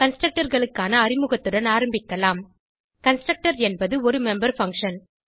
Constructorகளுக்கான அறிமுகத்துடன் ஆரம்பிக்கலாம் கன்ஸ்ட்ரக்டர் என்பது ஒரு மெம்பர் பங்ஷன்